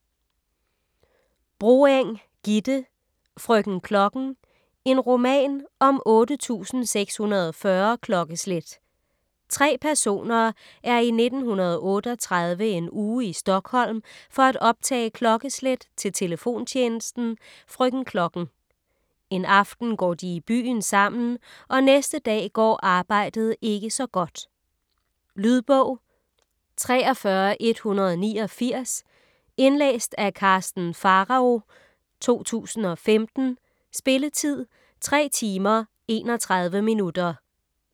Broeng, Gitte: Frøken Klokken: en roman om 8640 klokkeslæt Tre personer er i 1938 en uge i Stockholm for at optage klokkeslæt til telefontjenesten "Frøken Klokken". En aften går de i byen sammen, og næste dag går arbejdet ikke så godt. Lydbog 43189 Indlæst af Karsten Pharao, 2015. Spilletid: 3 timer, 31 minutter.